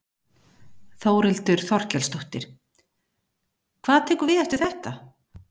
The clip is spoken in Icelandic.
Þórhildur Þorkelsdóttir: Hvað tekur við eftir þetta?